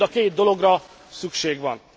Mind a két dologra szükség van.